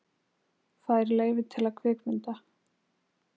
Fær leyfi til að kvikmynda